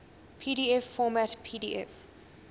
pdf format pdf